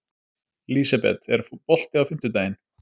Lísebet, er bolti á fimmtudaginn?